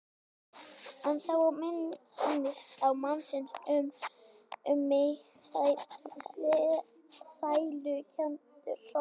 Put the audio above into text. En þá minnist ég mannsins og um mig fer sælukenndur hrollur.